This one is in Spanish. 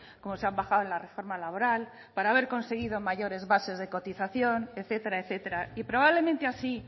como se han bajado en la reforma laboral para haber conseguido mayores bases de cotización etcétera etcétera y probablemente así